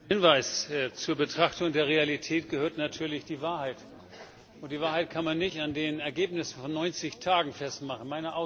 Ein Hinweis Zur Betrachtung der Realität gehört natürlich die Wahrheit, und die Wahrheit kann man nicht an den Ergebnissen von 90 Tagen festmachen.